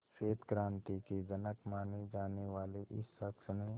श्वेत क्रांति के जनक माने जाने वाले इस शख्स ने